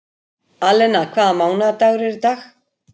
Alena, hvaða mánaðardagur er í dag?